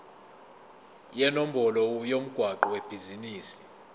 nenombolo yomgwaqo webhizinisi